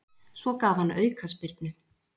Svo gaf hann aukaspyrnu.